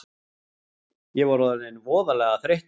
Ég var orðinn voðalega þreyttur.